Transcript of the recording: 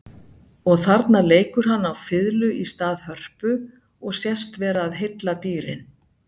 Og þarna leikur hann á fiðlu í stað hörpu og sést vera að heilla dýrin.